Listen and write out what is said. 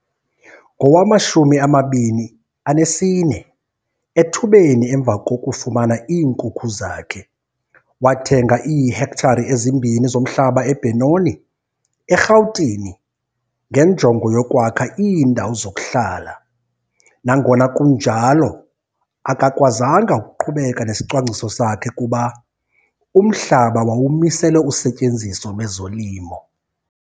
Ngowama-24, ethubeni emva kokufumana iinkukhu zakhe, wathenga iihektare ezimbini zomhlaba eBenoni, eRhawutini, ngenjongo yokwakha iindawo zokuhlala. Nangona kunjalo, akakwazanga ukuqhubeka nesicwangciso sakhe kuba umhlaba wawumiselwe usetyenziso lwezolimo.